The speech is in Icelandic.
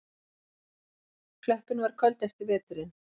Klöppin var köld eftir veturinn.